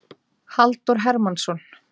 Halldór Hermannsson.